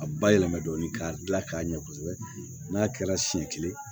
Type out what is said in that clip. A ba yɛlɛma dɔɔnin k'a dilan k'a ɲɛ kosɛbɛ n'a kɛra siɲɛ kelen